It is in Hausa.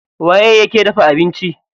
Waye yake dafa abinci?